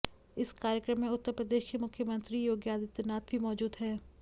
इस कार्यक्रम में उत्तर प्रदेश के मुख्यमंत्री योगी आदित्यनाथ भी मौजूद हैं